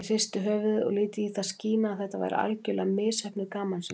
Ég hristi höfuðið og lét í það skína að þetta væri algerlega misheppnuð gamansemi.